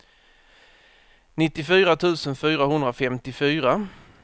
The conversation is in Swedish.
nittiofyra tusen fyrahundrafemtiofyra